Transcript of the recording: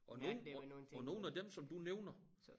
Og nogle og og nogle af dem som du nævner